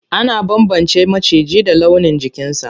Ana bambance maciji da launin jikinsa.